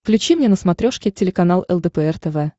включи мне на смотрешке телеканал лдпр тв